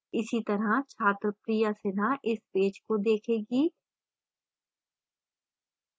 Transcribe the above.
इसी तरह छात्र priya sinha इस पेज को देखेगी